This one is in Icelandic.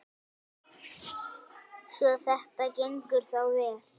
Svo þetta gengur þá vel?